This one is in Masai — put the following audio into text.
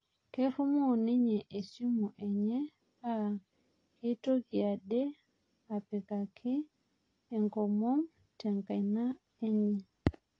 Nerumoo ninye esimu enye paa keitoki ade apikaki enkomom tenkaina enye